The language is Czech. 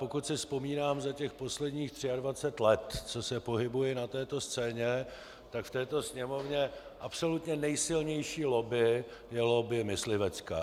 Pokud si vzpomínám za těch posledních 23 let, co se pohybuji na této scéně, tak v této Sněmovně absolutně nejsilnější lobby je lobby myslivecká.